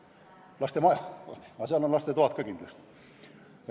Lastemaja – aga seal on kindlasti ka lastetoad.